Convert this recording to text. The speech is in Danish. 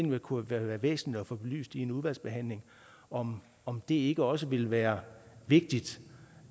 det kunne være væsentligt at få belyst i en udvalgsbehandling om om det ikke også ville være vigtigt